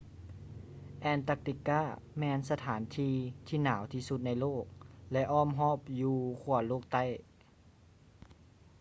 antarctica ແມ່ນສະຖານທີ່ທີ່ໜາວທີ່ສຸດໃນໂລກ ແລະ ອ້ອມຮອບຢູ່ຂົ້ວໂລກໃຕ້